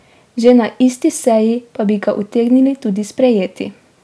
Že na isti seji pa bi ga utegnili tudi sprejeti.